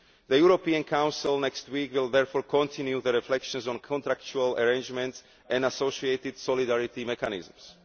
The European Council next week will therefore continue the reflections on contractual arrangements and associated solidarity mechanisms.